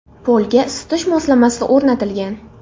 Polga isitish moslamasi o‘rnatilgan.